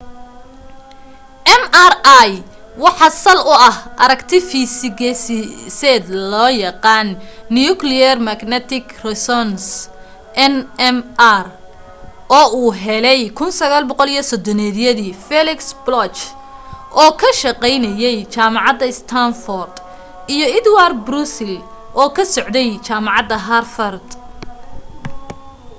mri waxa sal u ah aragti fiisigiseed loo yaqaan nuclear magnetic resonance nmr oo uu helay 1930yadii felix bloch oo ka shaqaynaya jaamacadda standford iyo edward purcell oo ka socday jaamacadda harvard